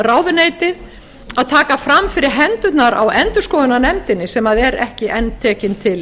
ráðuneytið að taka fram fyrir hendurnar á endurskoðunarnefndinni sem er ekki enn tekin til